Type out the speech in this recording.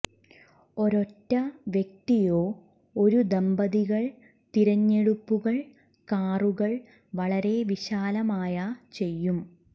ഒരൊറ്റ വ്യക്തിയോ ഒരു ദമ്പതികൾ തിരഞ്ഞെടുപ്പുകൾ കാറുകൾ വളരെ വിശാലമായ ചെയ്യും